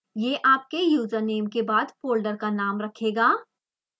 यह आपके यूज़रनेम के बाद फोल्डर का नाम रखेगा